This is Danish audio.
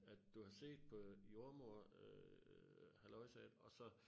At du har set på jordemoder øh halløjsaen og så